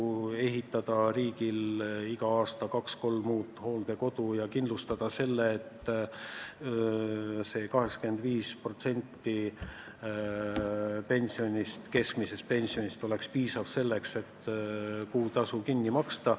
Riigil tuleks ehitada iga aasta kaks-kolm uut hooldekodu ja kindlustada, et 85% keskmisest pensionist oleks piisav selleks, et kuutasu kinni maksta.